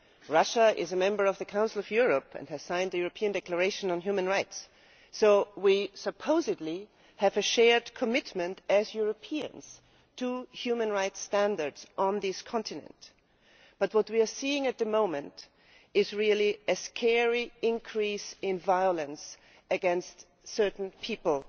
Russia is a member of the Council of Europe and has signed the European Declaration on Human Rights, so we supposedly have a shared commitment as Europeans to human rights standards on this continent, but what we are seeing at the moment is really a scary increase in violence against certain people.